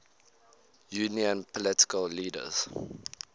union political leaders